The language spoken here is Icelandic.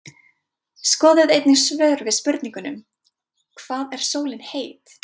Skoðið einnig svör við spurningunum: Hvað er sólin heit?